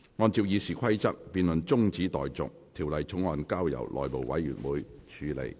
按照《議事規則》，這辯論現在中止待續，條例草案則交由內務委員會處理。